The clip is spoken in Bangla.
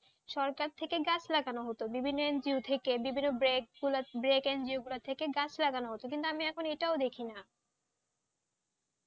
সরকার থেকে গাছ লাগানো হতো বিভিন্ন NGO থেকে, বিভিন্ন NGO থেকে কাজে লাগানো হতো কিন্তু আমি এখন এটাও দেখিনা,